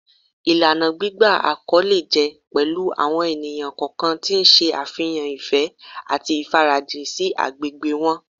Ìlànà gbígba àkọlé jẹ́ pẹ̀lú àwọn ènìyàn kọ̀ọ̀kan tí ń ṣe àfihàn ìfẹ́ àti ìfarajìn sí agbègbè wọn